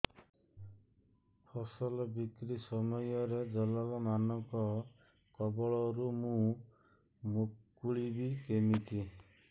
ଫସଲ ବିକ୍ରୀ ସମୟରେ ଦଲାଲ୍ ମାନଙ୍କ କବଳରୁ ମୁଁ ମୁକୁଳିଵି କେମିତି